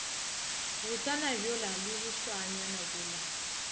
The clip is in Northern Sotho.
botsana bjola le bošwaanyana bjola